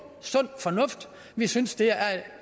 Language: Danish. sund fornuft vi synes det